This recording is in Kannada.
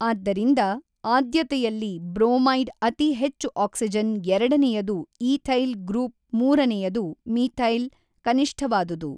ಆದ್ದರಿಂದ ಆದ್ಯತೆಯಲ್ಲಿ ಬ್ರೋಮೈಡ್ ಅತಿ ಹೆಚ್ಚು ಆಕ್ಸಿಜನ್ ಎರಡನೆಯದು ಈಥೈಲ್ ಗ್ರೂಪ್ ಮೂರನೆಯದು ಮೀಥೈಲ್ ಕನಿಷ್ಠವಾದುದು.